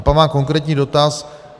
A pak mám konkrétní dotaz.